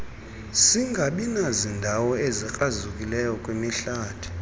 singabinazindawo ezikrazukileyo kwimihlathi